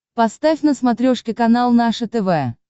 поставь на смотрешке канал наше тв